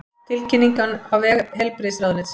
Tilkynningin á vef heilbrigðisráðuneytisins